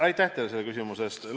Aitäh teile selle küsimuse eest!